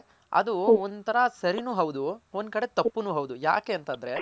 ಅದು ಒಂಥರ ಸರಿ ನು ಹೌದು ಒಂದ್ ಕಡೆ ತಪ್ಪುನು ಹೌದು ಯಾಕೆ ಅಂತ ಅಂದ್ರೆ.